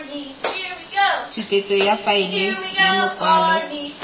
tshupetso ya faele ya makwalo